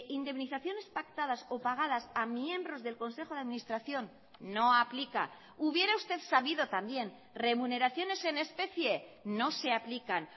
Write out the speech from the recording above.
indemnizaciones pactadas o pagadas a miembros del consejo de administración no aplica hubiera usted sabido también remuneraciones en especie no se aplican